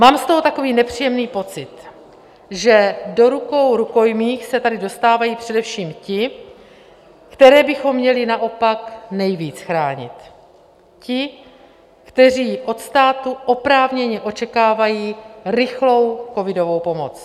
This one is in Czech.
Mám z toho takový nepříjemný pocit, že do rukou rukojmích se tady dostávají především ti, které bychom měli naopak nejvíc chránit, ti, kteří od státu oprávněně očekávají rychlou covidovou pomoc.